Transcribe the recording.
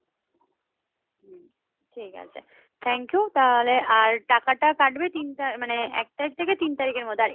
হম ঠিক আছে. thank you তাহলে আর টাকাটা কাটবে তিনটা মানে এক তারিখ থেকে তিন তারিখের মধ্যে আর